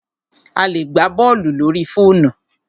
A lè gbá bọ́ọ̀lù lórí fóònù.